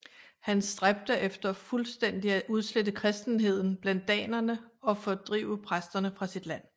Han stræbte efter fuldstændigt at udslette kristenheden blandt danerne og fordrive præsterne fra sit land